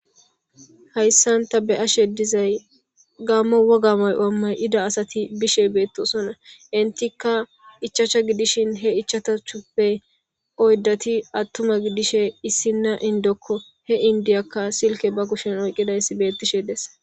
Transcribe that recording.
Hayssan ta be ashe dizay gammo woga may wammay ida asati bishe beettosona intika ichacha gidishin he ichata chuppe oyddati attuma gidishe issinna indokko he indiyakka silke ba kushen oyqidayss bettishe des